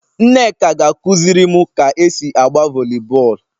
Nneka ga-akuzirim ka esi agba volleyball